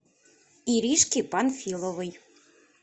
иришки панфиловой